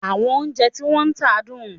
Àwọn oúnjẹ tí wọ́n ń tà dùn?